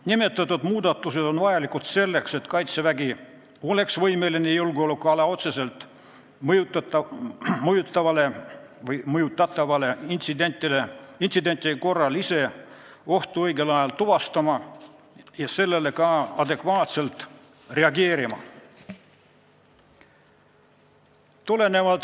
Nimetatud muudatused on vajalikud selleks, et Kaitsevägi oleks võimeline julgeolekuala otseselt mõjutatavate intsidentide korral ise ohtu õigel ajal tuvastama ja sellele adekvaatselt reageerima.